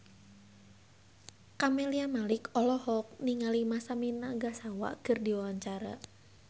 Camelia Malik olohok ningali Masami Nagasawa keur diwawancara